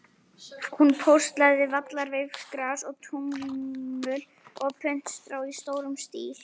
Hún póstlagði vallarsveifgras og túnvingul og puntstrá í stórum stíl.